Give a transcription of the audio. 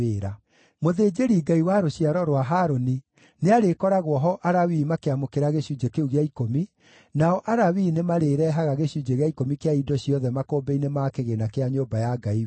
Mũthĩnjĩri-Ngai wa rũciaro rwa Harũni nĩarĩkoragwo ho Alawii makĩamũkĩra gĩcunjĩ kĩu gĩa ikũmi, nao Alawii nĩmarĩĩrehaga gĩcunjĩ gĩa ikũmi kĩa indo ciothe makũmbĩ-inĩ ma kĩgĩĩna kĩa nyũmba ya Ngai witũ.